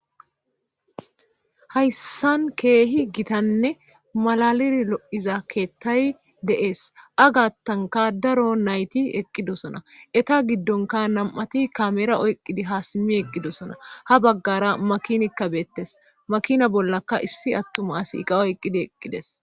Hayssan keehi gitanne malalir lo7iza keettay deees agattanka daro nayti eqqidosona eta giddonka nam7ati kamera oyqqidi haa simmi eqqidosona ha baggara makinikka beettes makina bollaka issi attuma asiiqa oyqqidi eqqides.